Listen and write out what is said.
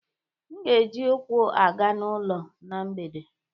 M ga-eji ụkwụ aga n'ụlọ na mgbede